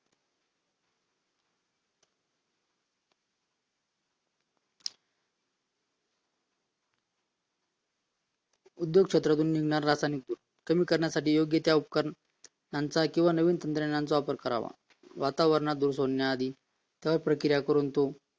उद्योग क्षेत्रातून मिळणारे रासायनिक धूर कमी करण्यासाठी योग्य ते उत्पादन किंवा नवीन तंत्रज्ञानाचा वापर करावा वातावरणात धूर सोडण्याआधी सह प्रक्रिया करून तो